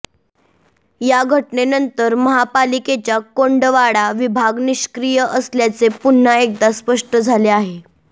या घटनेनंतर महापालिकेच्या कोंडवाडा विभाग निष्क्रिय असल्याचे पुन्हा एकदा स्पष्ट झाले आहे